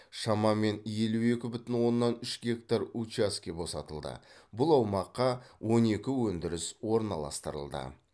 шамамен елу екі бүтін оннан үш гектар учаске босатылды бұл аумаққа он екі өндіріс орналастырылды